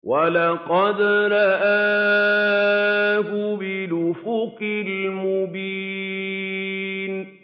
وَلَقَدْ رَآهُ بِالْأُفُقِ الْمُبِينِ